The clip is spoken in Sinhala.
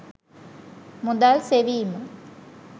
මුදල් සෙවීම